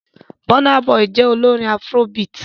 Burna Boy jẹ́ olórin afrobeat.